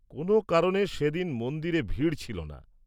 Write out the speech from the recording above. -কোন কারণে সেদিন মন্দিরে ভিড় ছিলনা।